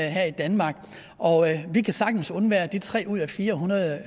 her i danmark og vi kan sagtens undvære de tre ud af fire hundrede